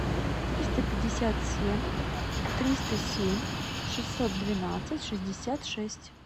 триста пятьдесят семь триста семь шестьсот двенадцать шестьдесят шесть